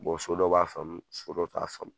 so dɔ b'a faamu so dɔ t'a faamu.